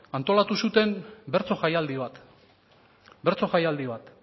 antolatu zuten bertso jaialdi bat bertso jaialdi bat